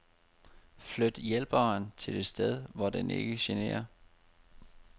Flyt hjælperen til et sted hvor den ikke generer.